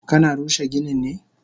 Kana rushe ginin ne?